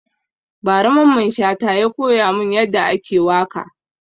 Ba ra Mamman Shata ya koya mun ya da ake waka